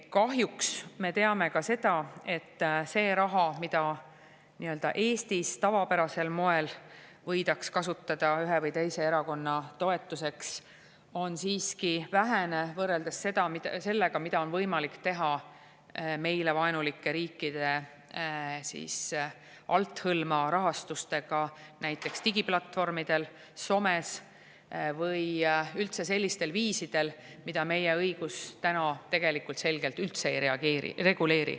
Kahjuks me teame ka seda, et see raha, mida Eestis tavapärasel moel võidaks kasutada ühe või teise erakonna toetuseks, on siiski vähene võrreldes sellega, mida on võimalik teha meile vaenulike riikide althõlma rahastusega näiteks digiplatvormidel, somes või sellistel viisidel, mida meie õigus täna selgelt üldse ei reguleeri.